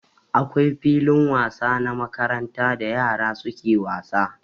Akwai filin wasa na makaranta da yara suke wasa.